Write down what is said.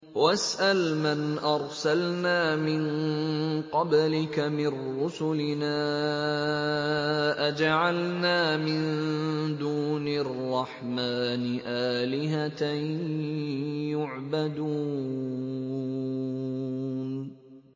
وَاسْأَلْ مَنْ أَرْسَلْنَا مِن قَبْلِكَ مِن رُّسُلِنَا أَجَعَلْنَا مِن دُونِ الرَّحْمَٰنِ آلِهَةً يُعْبَدُونَ